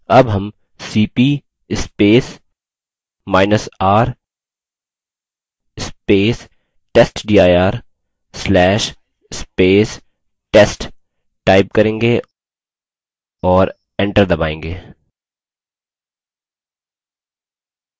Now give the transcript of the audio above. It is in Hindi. अब हम cpr testdir/test type करेंगे और enter दबायेंगे